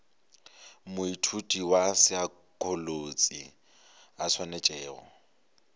moithuti wa saekholotši a swanetšego